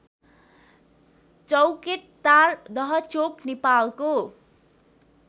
चौकेटार दहचोक नेपालको